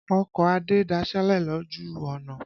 Ọkọ̀ Adé daṣélẹ̀ lòjù ọ̀nà.